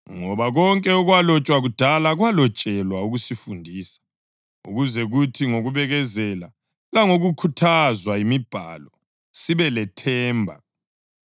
Ngoba konke okwalotshwa kudala kwalotshelwa ukusifundisa, ukuze kuthi ngokubekezela langokukhuthazwa yimibhalo sibe lethemba.